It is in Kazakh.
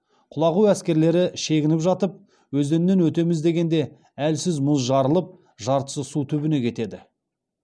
құлағу әскерлері шегініп жатып өзеннен өтеміз дегенде әлсіз мұз жарылып жартысы су түбіне кетеді